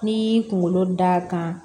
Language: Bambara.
N'i y'i kunkolo da kan